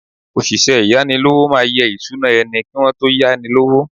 Òṣìṣẹ́ ìyánilówó máa yẹ ìṣúná ẹni kí wón tó yá ni lówó.